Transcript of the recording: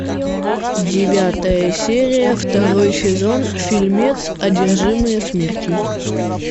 девятая серия второй сезон фильмец одержимые смертью